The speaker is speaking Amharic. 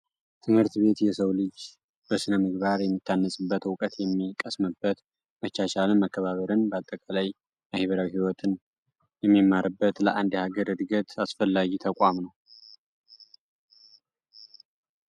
ትምህርት ቤት የሰው ልጅ በስነምግባር የሚታነፅበት፣ እውቀት የሚቀስምበት፣ መቻቻልን ፣መከባበርን ባጠቃላይ ማህበራ ህይወትን የሚማርበት ለአንድ ሀገር እድገት አሰፈላጊ ተቋም ነው።